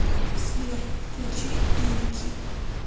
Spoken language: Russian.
сбер включи инки